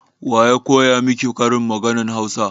Waya koya miki karin maganan Hausa?